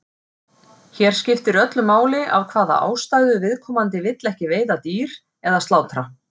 Hér skiptir öllu máli af hvaða ástæðu viðkomandi vill ekki veiða dýr eða slátra.